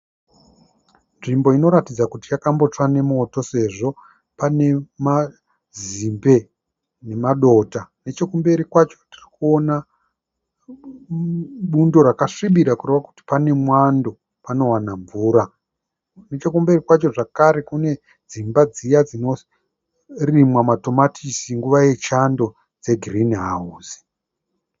Nzvimbo inoratidza kuti yakambotsva nemoto sezvo pane mazimbe nemadota. Nechokumberi kwacho tiri kuona bundo rakasvibira kureva kuti pane mwando, panowana mvura. Nechokumberi kwacho zvakare kune dzimba dziya dzinorimwa madomasi nguva yechando dzegirini hauzi.